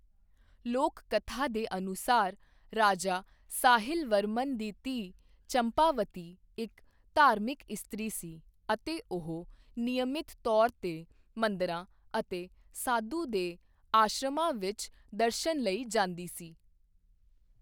ਲੋਕ ਕਥਾ ਦੇ ਅਨੁਸਾਰ, ਰਾਜਾ ਸਾਹਿਲ ਵਰਮਨ ਦੀ ਧੀ ਚੰਪਾਵਤੀ ਇੱਕ ਧਾਰਮਿਕ ਇਸਤਰੀ ਸੀ ਅਤੇ ਉਹ ਨਿਯਮਿਤ ਤੌਰ 'ਤੇ ਮੰਦਰਾਂ ਅਤੇ ਸਾਧੂ ਦੇ ਆਸ਼ਰਮਾਂ ਵਿੱਚ ਦਰਸ਼ਨ ਲਈ ਜਾਂਦੀ ਸੀ।